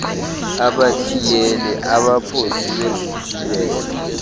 abathiyeli abaphosi bezithiyelo